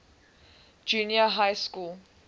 junior high school